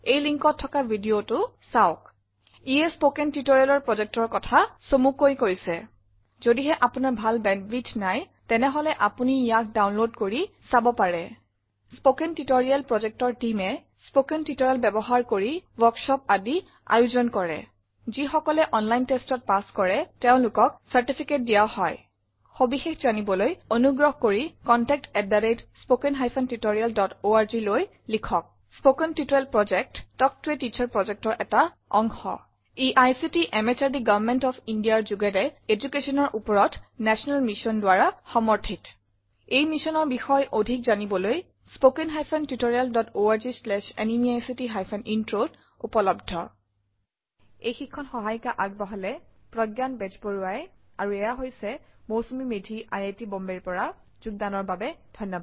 Linkত থকা ভিডিও চাব httpspoken tutorialorgWhat is a Spoken Tutorial ইয়ে স্পকেন টিউটৰিয়েল প্ৰজেক্টৰ কথা চমুকৈ কৈছে যদিহে আপোনাৰ ভাল বেন্দৱিডথ নাই তেনে আপুনি ইয়া ডাউনলোড কৰিব পাৰে আৰু চাব পাৰে স্পকেন টিউটৰিয়েল প্ৰজেক্ট টীমে স্পকেন টিউটৰিয়েল ব্যৱহাৰ কৰি ৱৰ্কশ্বপৰ আয়োজন কৰে যিকসকলে অনলাইন টেষ্টত পাছ কৰে তেওঁলোকক চাৰ্টিফিকেট দিয়ে সবিশেষ জানিবলৈ অনুগ্ৰহ কৰি contact at spoken hyphen tutorial dot org লৈ লিখক spoken tutorial project talk to a teacher প্ৰজেক্টৰ অংশ ই আইচিটি এমএচআৰডি গভৰ্ণমেন্ট অফ ইণ্ডিয়াৰ যোগেৰে এদুকেশ্যনৰ উপৰত নেশ্যনেল মিচন দ্বাৰা সমৰ্থিত এই মিচন বিষয়ক অধিক information spoken hyphen tutorial dot org slash এনএমইআইচিত হাইফেন ইন্ট্ৰত উপলব্ধ এই টিউটৰিয়েলত বৰঙনি যোগালে মৌচুমি মেধীয়ে অংশ গ্ৰহণৰ বাবে ধন্যবাদ